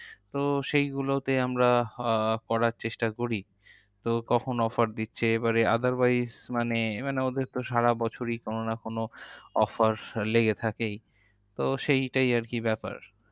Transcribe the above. তো সেইগুলোতে আমরা আহ করার চেষ্টা করি তো কখন offer দিচ্ছে? otherwise মানে মানে ওদের তো সারাবছরই কোনো না কোনো offers লেগে থাকেই তো সেইটাই আরকি ব্যাপার।